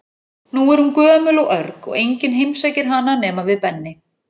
Nú er hún gömul og örg og enginn heimsækir hana nema við Benni.